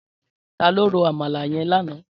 Tàló ró ámàlá yèn làná?